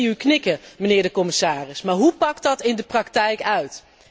Ik zie u knikken, mijnheer de commissaris, maar hoe pakt dat in de praktijk uit?